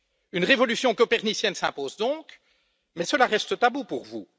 Une révolution copernicienne s'impose donc, mais cela reste tabou pour vous.